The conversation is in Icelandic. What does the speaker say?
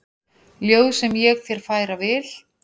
Ljóð sem ég þér færa vil.